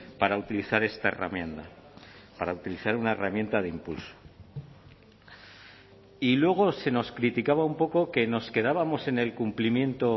para utilizar esta herramienta para utilizar una herramienta de impulso y luego se nos criticaba un poco que nos quedábamos en el cumplimiento